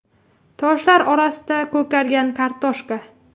Toshlar orasida ko‘kargan kartoshka.